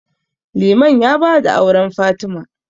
Liman ya ba da auren Fatima.